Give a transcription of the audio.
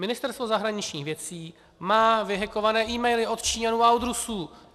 Ministerstvo zahraničních věcí má vyhackované emaily od Číňanů a od Rusů!